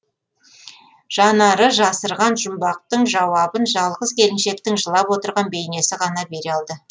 жанары жасырған жұмбақтың жауабын жалғыз келіншектің жылап отырған бейнесі ғана бере алды